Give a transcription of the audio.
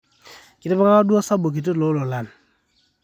kitipikaka duo osabu kiti too lolan